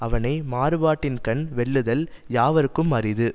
அவனை மாறுபாட்டின்கண் வெல்லுதல் யாவர்க்கும் அரிது